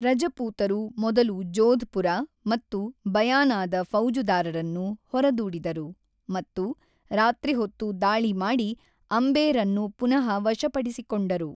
ರಜಪೂತರು ಮೊದಲು ಜೋಧ್‌ಪುರ ಮತ್ತು ಬಯಾನಾದ ಫೌಜುದಾರರನ್ನು ಹೊರದೂಡಿದರು ಮತ್ತು ರಾತ್ರಿಹೊತ್ತು ದಾಳಿ ಮಾಡಿ ಅಂಬೇರನ್ನು ಪುನಃ ವಶಪಡಿಸಿಕೊಂಡರು.